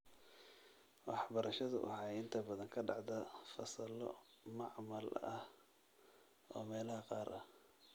Waxbarashadu waxay inta badan ka dhacdaa fasallo macmal ah oo meelaha qaar ah.